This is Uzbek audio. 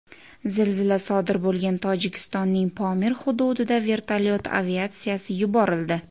Zilzila sodir bo‘lgan Tojikistonning Pomir hududiga vertolyot aviatsiyasi yuborildi.